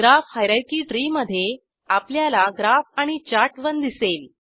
graph hierarchy tree मधे आपल्याला graph आणि चार्ट1 दिसेल